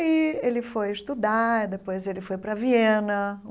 Aí ele foi estudar, depois ele foi para a Viena.